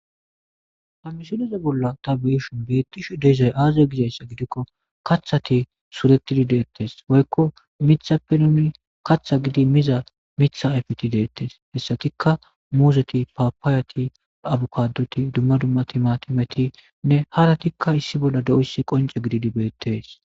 Ta missileze bolla ta beishin beettishe diizay aaze gizayssa gidikko kathati suretidi deettes woykko mithappe nuni katha gidi miza mitha ayfeti deettes hessatikka muzeti paapaayati abukaduti dumma dumma timatimetinne haratikka issi bolla dizayssi qonce gididi beettees.